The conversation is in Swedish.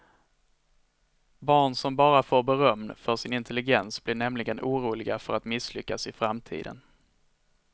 Barn som bara får beröm för sin intelligens blir nämligen oroliga för att misslyckas i framtiden.